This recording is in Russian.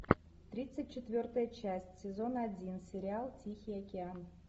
тридцать четвертая часть сезон один сериал тихий океан